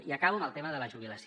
i acabo amb el tema de la jubilació